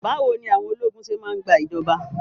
Báwo ni àwọn ológun ṣé máa ń gba ìjọba?